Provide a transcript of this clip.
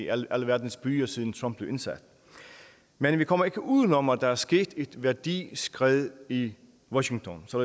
alverdens byer siden trump blev indsat men vi kommer ikke udenom at der er sket et værdiskred i washington så